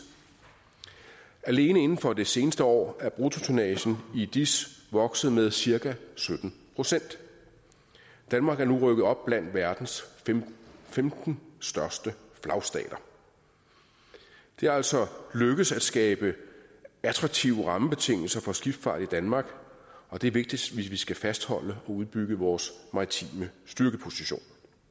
alene inden for det seneste år er bruttotonnagen i dis vokset med cirka sytten procent danmark er nu rykket op blandt verdens femten største flagstater det er altså lykkedes at skabe attraktive rammebetingelser for skibsfart i danmark og det er vigtigt hvis vi skal fastholde og udbygge vores maritime styrkeposition